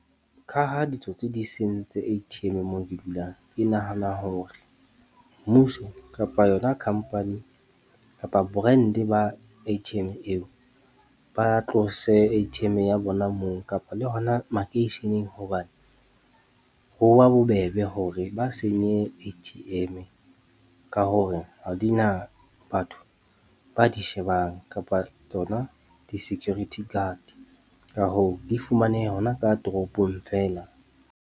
Ka ha ditsotsi di sentse A_T_M moo ke dulang, ke nahana hore mmuso kapa yona company kapa brand ba A_T_M eo. Ba tlose A_T_M ya bona moo kapa le hona makeisheneng hobane. Ho ba bobebe hore ba senye A_T_M-e ka hore ha di na batho ba di shebang, kapa tsona di-security guard, ka hoo di fumaneha hona ka toropong feela.